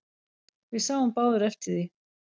Við sáum báðir eftir því.